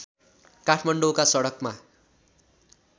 काठमाडौँका सडकमा